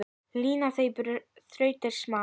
Lina þínar þrautir má.